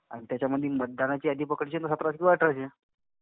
आणि त्याच्यामधी मतदानाची यादी पकडशील तर सतराशे किंवा अठराशे.